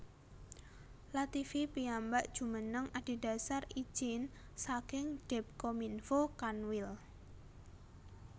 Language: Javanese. Lativi piyambak jumeneng adedhasar ijin saking Depkominfo Kanwil